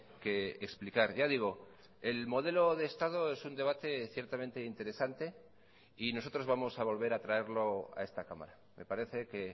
que explicar ya digo el modelo de estado es un debate ciertamente interesante y nosotros vamos a volver a traerlo a esta cámara me parece que